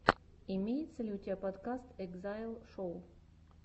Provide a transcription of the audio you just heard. имеется ли у тебя подкаст экзайл шоу